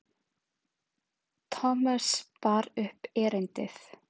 Thomas bar upp erindið.